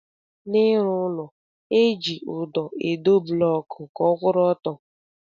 N'ịrụ ụlọ, eji ụdọ edo blọọkụ ka ọ kwụrụ ọtọ